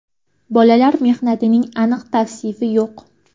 Bolalar mehnatining aniq tavsifi yo‘q.